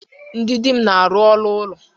Ndị di m na-arụ ọrụ ụlọ.